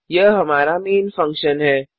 यह हमरा main function है